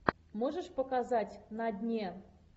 можешь показать на дне